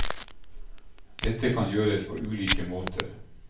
Dette kan gjøres på ulike måter.